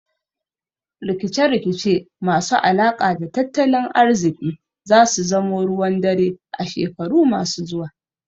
Rikice rikice masu alaka da tattalin ariziki zasu zamo ruwan dare a shekaru masu zuwa